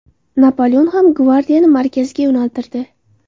Napoleon ham gvardiyani markazga yo‘naltirdi.